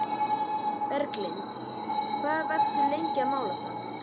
Berglind: Hvað varstu lengi að mála það?